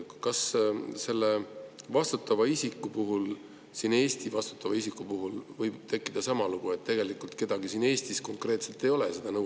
Kas selle vastutava isiku puhul, vastutava isiku puhul Eestis, võib tekkida sama lugu, et tegelikult kedagi konkreetselt siin Eestis ei ole?